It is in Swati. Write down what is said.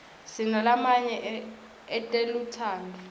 sinalamanye etelutsandvo